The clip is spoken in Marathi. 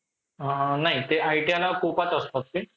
अअ नाही ते ITI ला असतात ते.